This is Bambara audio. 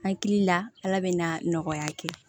Hakili la ala bɛ na nɔgɔya kɛ